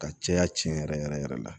Ka caya tiɲɛ yɛrɛ yɛrɛ yɛrɛ la